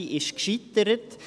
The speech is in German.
Diese scheiterte;